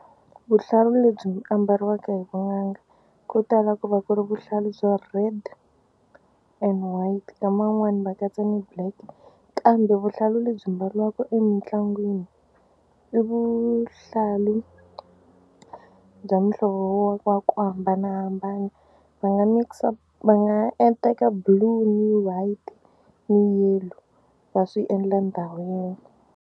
Vuhlalu lebyi ambariwaka hi vun'anga ko tala ku va ku ri vuhlalu bya red and white nkama wun'wani va katsa ni black kambe vuhlalu lebyi mbariwaka emitlangwini i vuhlalu bya muhlovo wo wa ku hambanahambana va nga mikisa va nga teka blue ni white ni yellow va swi endla ndhawu yin'we.